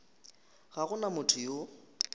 ga go na motho yo